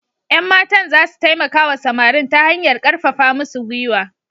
Yan matan za su taimaka wa samarin ta hanyar karfafa musu gwiwa.